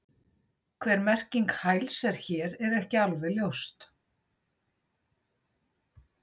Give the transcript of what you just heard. Hver merking hæls er hér er ekki alveg ljóst.